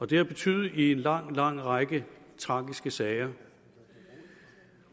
det har betydet en lang lang række tragiske sager